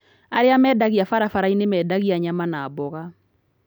Arĩa mendagia barabara-inĩ nĩ mendagia nyama na mboga.